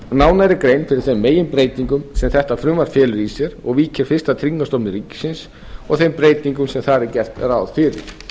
nánari grein fyrir þeim meginbreytingum sem þetta frumvarp felur í sér og víkja fyrst að tryggingastofnun ríkisins og þeim breytingum se þar er gert ráð fyrir